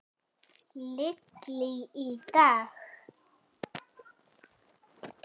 Lillý: Í dag?